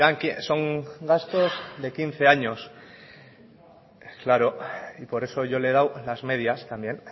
que son gastos de quince años claro y por eso yo le he dado las medias también